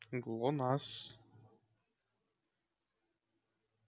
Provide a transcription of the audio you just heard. глонассс